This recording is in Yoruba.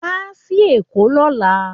Wá sí Èkó lọ́la